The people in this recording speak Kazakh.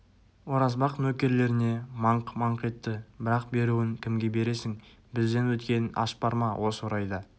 оразбақ нөкерлеріне маңқ-маңқ етті бірақ беруін кімге бересің бізден өткен аш бар ма осы орайда